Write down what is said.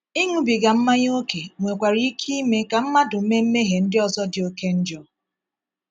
Ịṅụbiga mmanya ókè nwekwara ike ime ka mmadụ mee mmehie ndị ọzọ dị oké njọ.